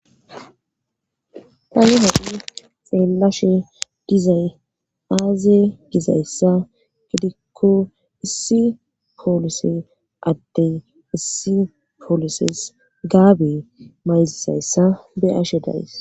Tani ha'i xeellashe dizay aaze gizayssa gidikko issi poolise ades issi poolises gaabe mayizishe be'ashe days.